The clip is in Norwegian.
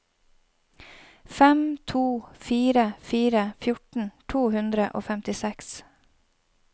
fem to fire fire fjorten to hundre og femtiseks